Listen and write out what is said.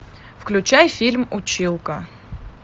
включай фильм училка